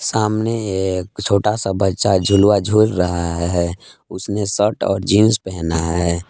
सामने एक छोटा सा बच्चा झूला झूल रहा है उसने शर्ट और जींस पहना है।